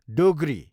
Dogri